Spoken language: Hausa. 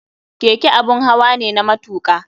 Keke abun hawa ne na matuka.